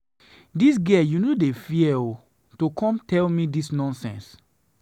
Dis girl you no dey fear oo, to come tell me dis nonsense.